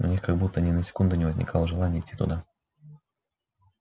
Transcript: у них как будто ни на секунду не возникало желания идти туда